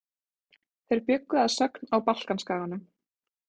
Þeir bjuggu að sögn á Balkanskaganum.